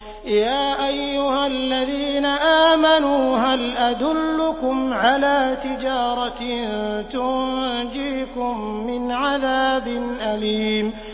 يَا أَيُّهَا الَّذِينَ آمَنُوا هَلْ أَدُلُّكُمْ عَلَىٰ تِجَارَةٍ تُنجِيكُم مِّنْ عَذَابٍ أَلِيمٍ